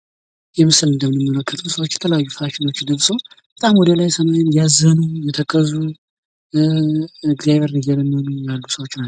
ይህ ምስል እንደምንመለከተው ሰዎች የተለያዩ ፋሽን ለብሰው በጣም ወደ ሰማዩ ያዘኑ የተከዙ እ እግዚአብሔር እየለመኑ ያሉ ሰዎች ናቸው።